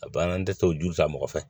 A banna n tɛ se o joli la mɔgɔ fɛ